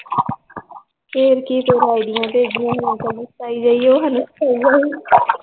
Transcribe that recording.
ਫ਼ੇਰ ਕੀ ਚਲੋ ਆਈਡੀਆਂ l